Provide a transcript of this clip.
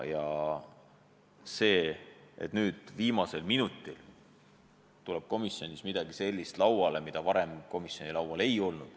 Ja nüüd äkki viimasel minutil tuleb komisjonis lauale midagi sellist, mida seal varem laual ei olnud.